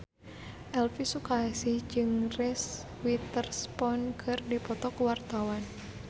Elvy Sukaesih jeung Reese Witherspoon keur dipoto ku wartawan